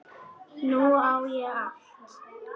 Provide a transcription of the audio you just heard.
Nú á ég allt.